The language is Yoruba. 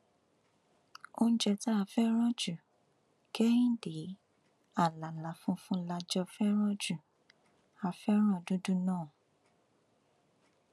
oúnjẹ tá a fẹràn ju kẹhìndẹ àlàlà funfun la jọ fẹràn jù á fẹràn dúdú náà